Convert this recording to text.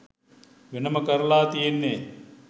වෙනම කරලා තියෙන්නේ.